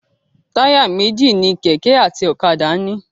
Táyà méjì ni kẹ̀kẹ́ àti ọ̀kadà.